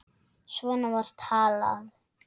Svona var talað.